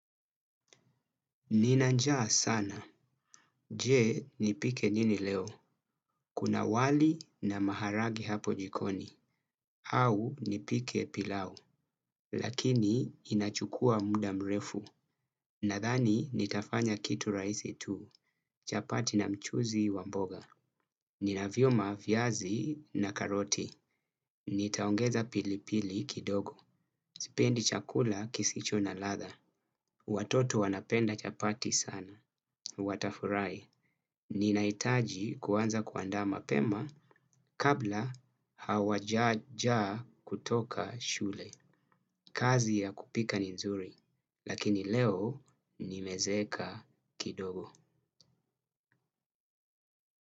Ninanjaa sana. Je? Nipike nini leo? Kuna wali na maharagi hapo jikoni. Au, nipike pilau. Lakini inachukua muda mrefu. Nadhani nitafanya kitu rahisi tu. Chapati na mchuzi wamboga. Ninavyo ma viazi na karoti. Nitaongeza pilipili kidogo. Sipendi chakula kisicho na ladha. Watoto wanapenda chapati sana. Watafurahi. Nina hitaji kuanza kuandaa ma pema kabla hawajaja kutoka shule. Kazi ya kupika ni nzuri. Lakini leo nimezeeka kidogo.